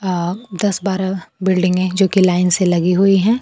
आ दस बारह बिल्डिंगे जोकि लाइन से लगी हुई हैं।